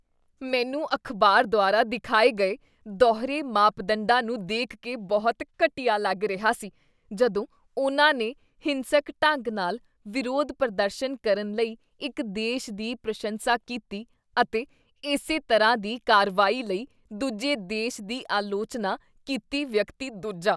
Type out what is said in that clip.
ਮੈਨੂੰ ਅਖ਼ਬਾਰ ਦੁਆਰਾ ਦਿਖਾਏ ਗਏ ਦੋਹਰੇ ਮਾਪਦੰਡਾਂ ਨੂੰ ਦੇਖ ਕੇ ਬਹੁਤ ਘਟੀਆ ਲੱਗ ਰਿਹਾ ਸੀ ਜਦੋਂ ਉਨ੍ਹਾਂ ਨੇ ਹਿੰਸਕ ਢੰਗ ਨਾਲ ਵਿਰੋਧ ਪ੍ਰਦਰਸ਼ਨ ਕਰਨ ਲਈ ਇੱਕ ਦੇਸ਼ ਦੀ ਪ੍ਰਸ਼ੰਸਾ ਕੀਤੀ ਅਤੇ ਇਸੇ ਤਰ੍ਹਾਂ ਦੀ ਕਾਰਵਾਈ ਲਈ ਦੂਜੇ ਦੇਸ਼ ਦੀ ਆਲੋਚਨਾ ਕੀਤੀ ਵਿਅਕਤੀ ਦੂਜਾ